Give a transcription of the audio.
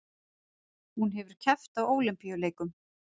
Hún hefur keppt á Ólympíuleikum